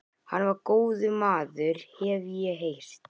Hann var góður maður, hef ég heyrt